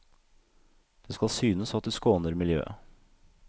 Det skal synes at du skåner miljøet.